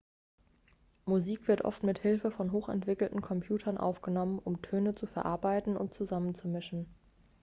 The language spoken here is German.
musik wird oft mit hilfe von hochentwickelten computern aufgenommen um töne zu verarbeiten und zusammenzumischen